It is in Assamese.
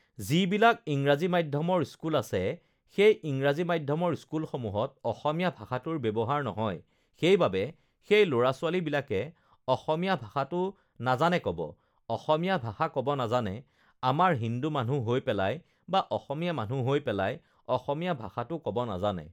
যিবিলাক ইংৰাজী মাধ্যমৰ স্কুল আছে সেই ইংৰাজী মাধ্যমৰ স্কুলসমূহত অসমীয়া ভাষাটোৰ ব্যৱহাৰ নহয় সেইবাবে সেই ল'ৰা-ছোৱালীবিলাকে অসমীয়া ভাষাটো নাজানে ক'ব অসমীয়া ভাষা ক'ব নাজানে আমাৰ হিন্দু মানুহ হৈ পেলাই বা অসমীয়া মানুহ হৈ পেলাই অসমীয়া ভাষাটো ক'ব নাজানে